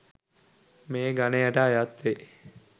මේ ගණයට අයත් වේ.